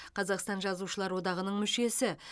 қазақстан жазушылар одағының мүшесі